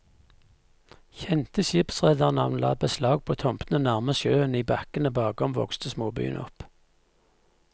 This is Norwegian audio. Kjente skipsredernavn la beslag på tomtene nærmest sjøen, i bakkene bakom vokste småbyen opp.